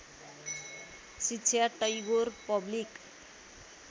शिक्षा टैगोर पब्लिक